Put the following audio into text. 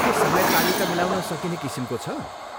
के समय तालिका मिलाउन सकिने किसिमको छ?